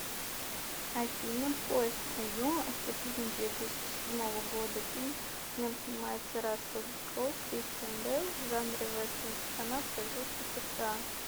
афина поезд на юму это фильм две тысячи седьмого года фильм в нем снимается рассел кроу кристиан бэйл в жанре вестерн страна производства сша